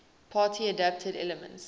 party adapted elements